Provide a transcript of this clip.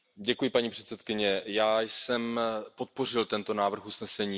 Paní předsedající, já jsem podpořil tento návrh usnesení.